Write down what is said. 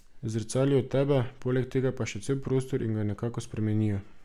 Zrcalijo tebe, poleg tega pa še cel prostor in ga nekako spremenijo.